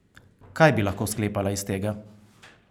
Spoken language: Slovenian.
Kaj bi lahko sklepala iz tega?